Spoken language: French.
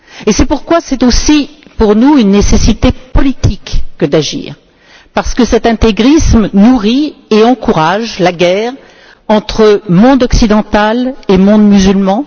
C'est pourquoi c'est aussi pour nous une nécessité politique que d'agir parce que cet intégrisme nourrit et encourage la guerre entre monde occidental et monde musulman.